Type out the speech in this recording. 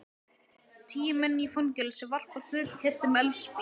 Tíu menn í fangelsi varpa hlutkesti með eldspýtum.